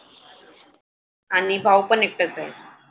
आणि भाऊ पण एकटाच आहे.